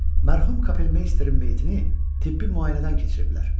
mərhum Kapelmeysterin meytini tibbi müayinədən keçiriblər.